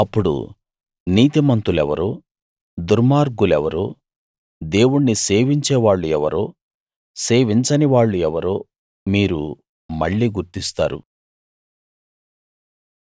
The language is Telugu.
అప్పుడు నీతిమంతులెవరో దుర్మార్గులెవరో దేవుణ్ణి సేవించేవాళ్ళు ఎవరో సేవించనివాళ్ళు ఎవరో మీరు మళ్ళీ గుర్తిస్తారు